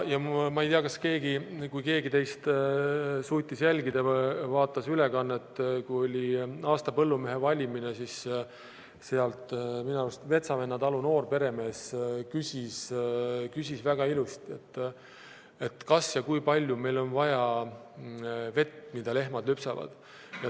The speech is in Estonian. Ma ei tea, kas keegi teist vaatas ülekannet, kui oli aasta põllumehe valimine, siis seal minu arust Metsavenna talu noorperemees küsis väga ilusti: kas ja kui palju meil on vaja vett, mida lehmad lüpsavad.